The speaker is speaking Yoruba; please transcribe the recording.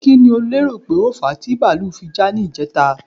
Kí ni o lérò pé ó fà á ti bàlúù fi já ní ìjẹta?